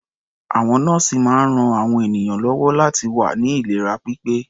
Àwọn nọ́ọ̀sì máa ń ran àwọn ènìyàn lọ́wọ́ láti wà ní ìlera pípé.